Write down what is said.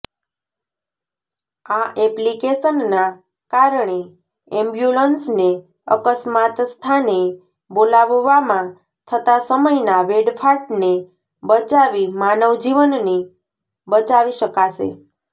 આ એપ્લીકેશનના કારણે એમ્બ્યુલન્સને અકસ્માત સ્થાને બોલાવવામાં થતા સમયના વેડફાટને બચાવી માનવ જીવનને બચાવી શકાશે